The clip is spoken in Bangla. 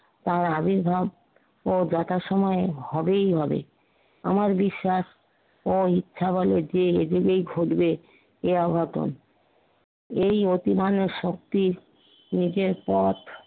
তার আবির্ভাব ও যথাসময়ে হবেই হবে। আমার বিশ্বাস ঐ ইচ্ছা বলে যে এদিকেই খুজবে এ অঘটন এই অতি মানুষ শক্তি নিজের পথ